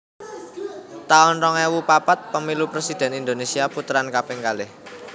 taun rong ewu papat Pemilu Presidhèn Indonesia Puteran kaping kalih